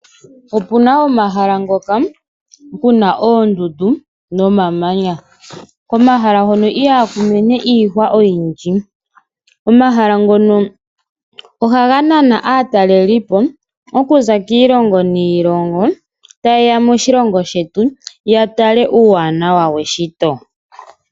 Opu na omahala ngoka pu na oondundu nomamanya. Komahala hono ihaku mene iihwa oyindji. Omahala ngono ohaga nana aatalelipo ta yeya moshilongo shetu ya tale uuwanawa weshito.